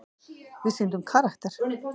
Við sýndum karakter.